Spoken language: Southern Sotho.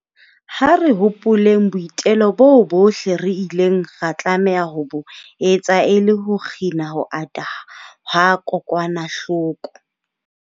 Ha re hopoleng boitelo boo bohle re ileng ra tlameha ho bo etsa e le ho kgina ho ata ha kokwanahloko.